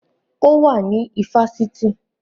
Ó wà ní ifásitì